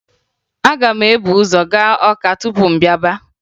Aga m ebu ụzọ gaa Ọka tupu m bịaba